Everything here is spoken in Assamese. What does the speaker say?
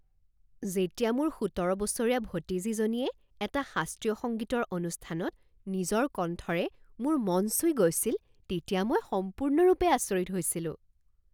যেতিয়া মোৰ সোতৰ বছৰীয়া ভতিজীজনীয়ে এটা শাস্ত্ৰীয় সংগীতৰ অনুষ্ঠানত নিজৰ কণ্ঠৰে মোৰ মন চুই গৈছিল তেতিয়া মই সম্পূৰ্ণৰূপে আচৰিত হৈছিলোঁ।